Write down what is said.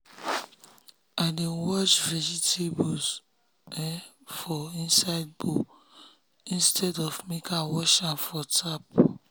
i dey wash vegetables um for inside bowl instead of make i wash am for tap.